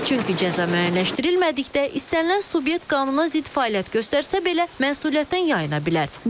Çünki cəza müəyyənləşdirilmədikdə istənilən subyekt qanuna zidd fəaliyyət göstərsə belə, məsuliyyətdən yayıla bilər.